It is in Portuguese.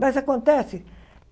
Mas acontece.